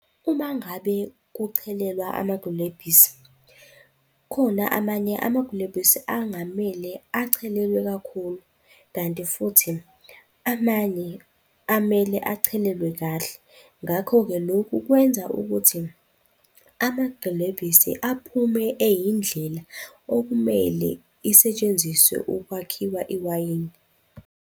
Uma ngabe kuchelelwa amagilebhisi, khona amanye amagilebhisi angamele achelelwe kakhulu, kanti futhi amanye amele achelelwe kahle, ngakho-ke lokhu kwenza ukuthi amagilebhisi aphume eyindlela okumele isetshenziswe ukwakhiwa iwayini.